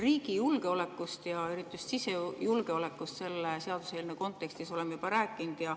Riigi julgeolekust ja eriti just sisejulgeolekust oleme selle seaduseelnõu kontekstis juba rääkinud.